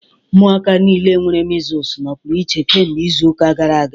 Ụmụaka niile nwere measles nọpụrụ iche kemgbe izu ụka gara aga